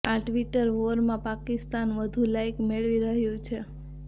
આ ટ્વિટર વોરમાં પાકિસ્તાન વધુ લાઇક મેળવી રહ્યું છે